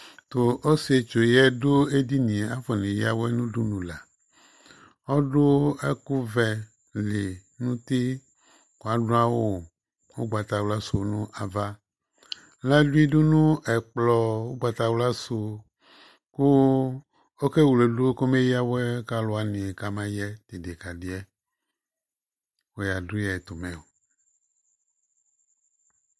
Tʋ ɔsɩetsu dʋ edini yɛ afɔneyǝwɛ nʋ udunu la Ɔdʋ ɛkʋvɛ li nʋ uti kʋ adʋ awʋ ʋgbatawla sʋ nʋ ava Ladʋ idu nʋ ɛkplɔ ʋgbatawla sʋ kʋ ɔkevledu kɔmeyǝ awɛ ka alʋ wanɩ kamayɛ tʋ ɩdɩkadɩ yɛ Wʋyadʋ yɩ ɛtʋmɛ o